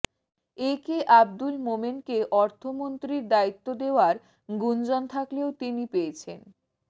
এ কে আব্দুল মোমেনকে অর্থমন্ত্রীর দায়িত্ব দেওয়ার গুঞ্জন থাকলেও তিনি পেয়েছেন